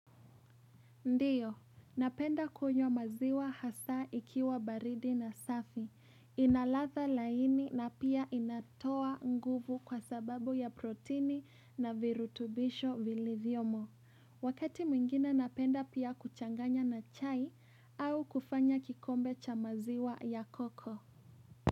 Ndiyo. Napenda kunywa maziwa hasa ikiwa baridi na safi. Ina ladha laini na pia inatoa nguvu kwa sababu ya protini na virutubisho vilivyomo Wakati mwingine napenda pia kuchanganya na chai au kufanya kikombe cha maziwa ya koko.